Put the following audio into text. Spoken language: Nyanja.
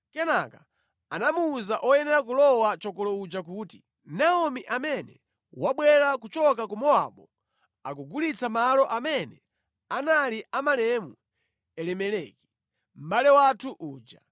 Kenaka anamuwuza oyenera kulowa chokolo uja kuti, “Naomi amene wabwera kuchoka ku Mowabu akugulitsa malo amene anali a malemu Elimeleki, mʼbale wathu uja.